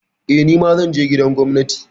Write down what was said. Eh, nima zan je gidan gwamnati.